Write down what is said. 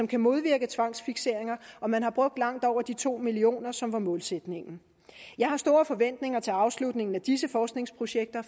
kan modvirke tvangsfikseringer og man har brugt langt over de to million kr som var målsætningen jeg har store forventninger til afslutningen af disse forskningsprojekter